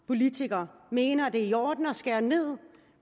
politikere mener at det er i orden at skære ned